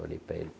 Olhei para ele.